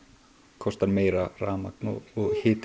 kostar meira rafmagn og hiti